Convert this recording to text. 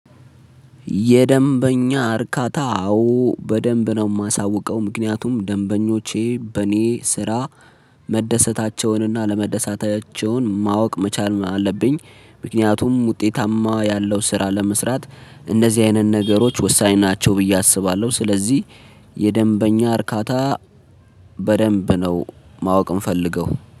የደንበኛ እርካታ አዎ በደንብ ነው የማሳውቀው ምክንያቱም ደንበኞቼ በእኔ ስራ መደሰታቸውንና አለመደሰታቸውን ማወቅ መቻል አለብኝ። ምክንያቱም ውጤታማ ያለው ስራ ለመስራት እነዚህ አይነት ነገሮች ወሳኝ ናቸው ብዬ አስባለሁ። ስለዚህ የደንበኛ እርካታ በደንብ ነው ማወቅ የምፈልገው